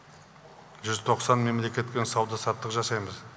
жүз тоқсан мемлекетпен сауда саттық жасаймыз